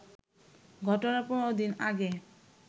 ঘটনার ১৫ দিন আগে